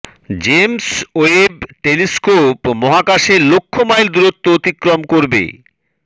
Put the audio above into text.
James Webb telescope মহাকাশে লক্ষ mile দূরত্ব অতিক্রমণ করবে